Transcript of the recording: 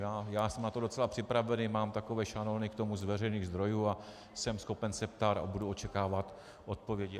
Já jsem na to docela připravený, mám takové šanony k tomu z veřejných zdrojů a jsem schopen se ptát a budu očekávat odpovědi.